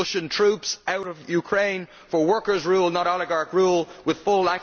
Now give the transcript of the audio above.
Russian troops out of Ukraine for workers' rule, not oligarch rule with full